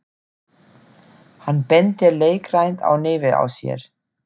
Hann bendir leikrænt á nefið á sér.